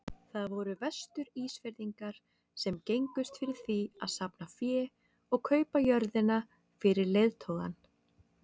Það voru Vestur-Ísfirðingar sem gengust fyrir því að safna fé og kaupa jörðina fyrir leiðtogann.